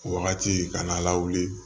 Wagati ka na lawuli